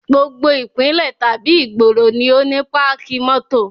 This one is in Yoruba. Gbogbo ìpínlẹ̀ tàbí ìgboro ni ó ní páàkì mótò